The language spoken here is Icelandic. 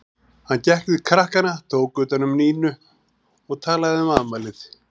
Hann gekk til krakkanna, tók utan um Nínu og talaði um afmælið.